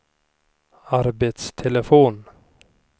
arbetstelefon